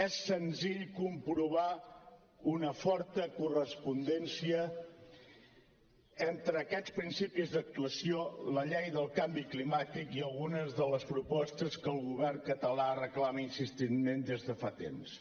és senzill comprovar una forta correspondència entre aquests principis d’actuació la llei del canvi climàtic i algunes de les propostes que el govern català reclama insistentment des de fa temps